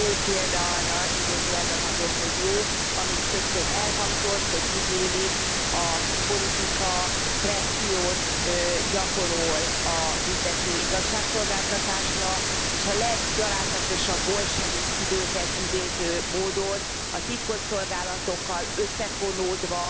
Ez egy jó példa idézőjelben mondom, hogy jó arra, ami itt többször elhangzott, hogy tudniillik a politika pressziót gyakorol a büntető igazságszolgáltatásra és a leggyalázatosabb bolsevik időket idéző módon a titkosszolgálatokkal összefonódva,